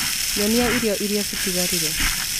Nyonia irio irĩa citigarire